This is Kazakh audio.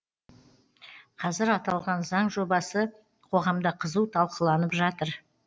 қазір аталған заң жобасы қоғамда қызу талқыланып жатыр